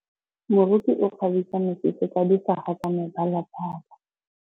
Moroki o kgabisa mesese ka difaga tsa mebalabala.